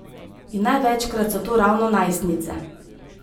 In največkrat so to ravno najstnice.